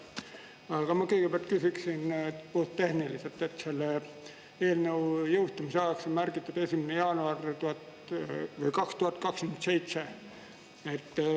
Aga ma kõigepealt küsiksin puhttehniliselt, et selle eelnõu jõustumise ajaks on märgitud 1. jaanuar 2027.